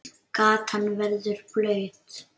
Gatan verður blaut.